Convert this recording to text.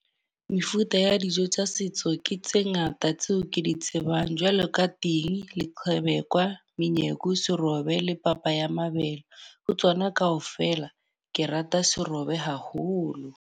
Mefuta ya dijo tsa setso ke tse ngata tseo ke di tsebang. Jwalo ka ting, leqebekwa, menyako, serobe le papa ya mabele. Ho tsona ka ofela ke rata serobe haholo.